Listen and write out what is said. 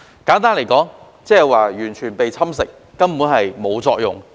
簡單來說，就是完全被侵蝕，根本毫無作用。